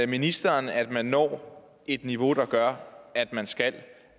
ministeren at man når et niveau der gør at man skal